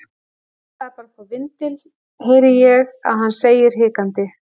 Ég ætlaði bara að fá vindil, heyri ég að hann segir hikandi.